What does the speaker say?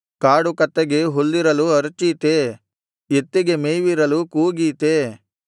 ಕಾಡುಕತ್ತೆಗೆ ಹುಲ್ಲಿರಲು ಅರಚೀತೇ ಎತ್ತಿಗೆ ಮೇವಿರಲು ಕೂಗೀತೇ